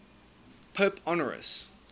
pope honorius